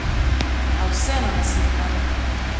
A vseeno nasitna!